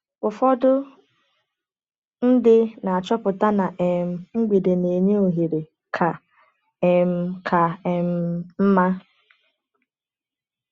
Ụfọdụ ndị na-achọpụta na um mgbede na-enye ohere ka um ka um mma.